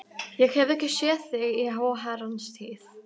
Ég hef ekki séð þig í háa herrans tíð.